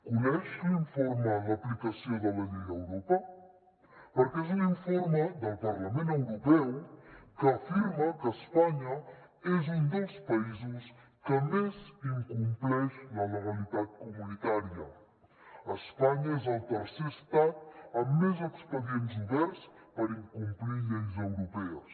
coneix l’informe l’aplicació de la llei a europa perquè és un informe del parlament europeu que afirma que espanya és un dels països que més incompleix la legalitat comunitària espanya és el tercer estat amb més expedients oberts per incomplir lleis europees